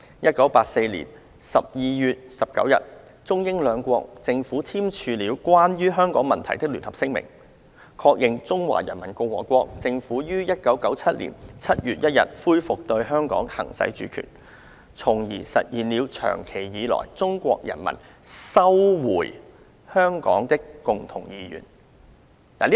一九八四年十二月十九日，中英兩國政府簽署了關於香港問題的聯合聲明，確認中華人民共和國政府於一九九七年七月一日恢復對香港行使主權，從而實現了長期以來中國人民收回香港的共同願望。